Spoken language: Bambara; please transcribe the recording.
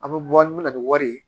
An bɛ bɔ an bɛ na ni wari ye